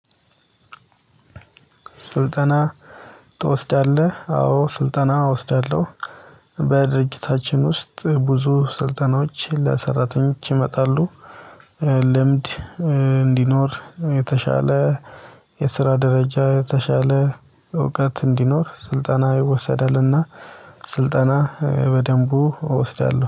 ስልጠና ትወስዳለህ? አዎ ስልጠና እወስዳለሁ። በድርጅታችን ውስጥ ብዙ ስልጠናዎች ለሰራተኞች ይመጣሉ። ልምድ እንዲኖር የተሻለ የስራ ደረጃ የተሻለ እውቀት እንዲኖር ስልጠና ይወሰዳልና። ስልጠና በደንቡ እወስዳለሁ